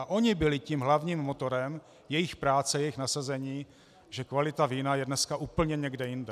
A oni byli tím hlavním motorem, jejich práce, jejich nasazení, že kvalita vína je dneska úplně někde jinde.